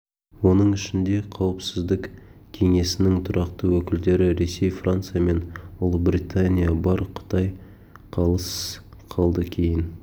оның ішінде қауіпсіздік кеңесінің тұрақты өкілдері ресей франция мен ұлыбритания бар қытай қалыс қалды кейін